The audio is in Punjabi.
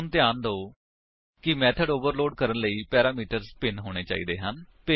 ਹੁਣ ਧਿਆਨ ਦਿਓ ਕਿ ਮੇਥਡ ਓਵਰਲੋਡ ਕਰਨ ਲਈ ਪੈਰਾਮੀਟਰਸ ਭਿੰਨ ਹੋਣੇ ਚਾਹੀਦੇ ਹਨ